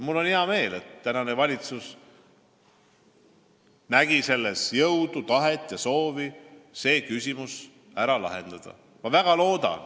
Mul on hea meel, et tänasel valitsusel on jõudu, tahet ja soovi see küsimus ära lahendada.